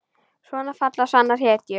Svona falla sannar hetjur.